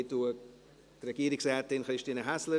Ich verabschiede Regierungsrätin Häsler.